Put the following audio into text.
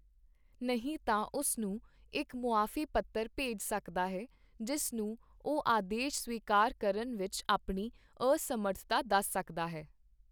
ਨਹੀਂ ਤਾਂ ਉਸ ਨੂੰ ਇੱਕ ਮੁਆਫ਼ੀ ਪੱਤਰ ਭੇਜ ਸਕਦਾ ਹੈ, ਜਿਸ ਨੂੰ ਉਹ ਆਦੇਸ਼ ਸਵੀਕਾਰ ਕਰਨ ਵਿੱਚ ਆਪਣੀ ਅਸਮਰਥਤਾ ਦੱਸ ਸਕਦਾ ਹੈ।